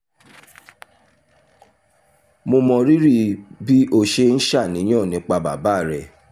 mo mọrírì bí o ṣe ń ṣàníyàn nípa bàbá rẹ